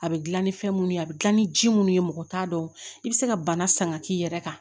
A bɛ dilan ni fɛn munnu ye a bɛ gilan ni ji minnu ye mɔgɔ t'a dɔn i bɛ se ka bana san ka k'i yɛrɛ kan